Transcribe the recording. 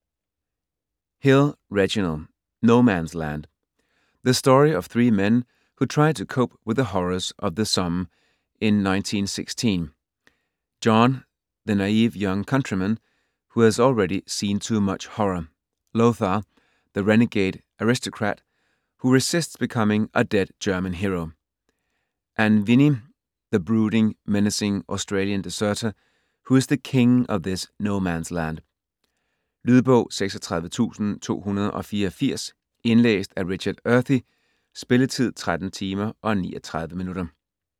Hill, Reginald: No-man's land The story of three men who try to cope with the horrors of the Somme in 1916: John, the naive young countryman who has already seen too much horror; Lothar, the renegade aristocrat who resists becoming a dead German hero; and Viney, the brooding, menacing Australian deserter who is the king of this no-man's land. Lydbog 36284 Indlæst af Richard Earthy. Spilletid: 13 timer, 39 minutter.